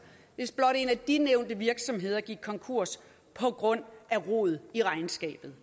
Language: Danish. hvis blot en af de nævnte virksomheder gik konkurs på grund af rod i regnskabet